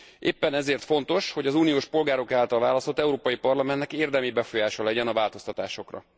Éppen ezért fontos, hogy az uniós polgárok által választott Európai Parlamentnek érdemi befolyása legyen a változtatásokra.